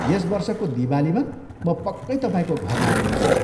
यस वर्षको दिवालीमा म पक्कै तपाईँको घरमा आउनेछु ।